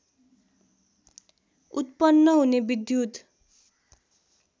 उत्पन्न हुने विद्युत्